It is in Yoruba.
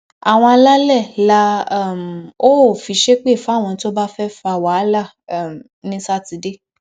àwọn alálẹ la um óò fi ṣépè fáwọn tó bá fẹẹ fa wàhálà um ní sátidé